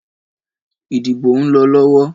Ìdìbò ùn lọ lọwọ́